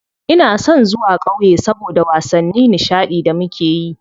Ina son zuwa ƙauye saboda wasanni nishaɗi da muke yi.